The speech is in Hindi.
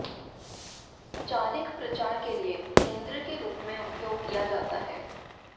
चारिक प्रचार के लिए केंद्र के रूप में उपयोग किया जाता है